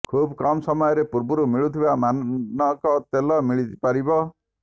ଖୁବ୍ କମ୍ ସ୍ଥାନରେ ପୂର୍ବରୁ ମିଳୁଥିବା ମାନକ ତେଲ ମିଳିପାରିବ